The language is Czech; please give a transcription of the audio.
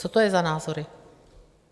Co to je za názory?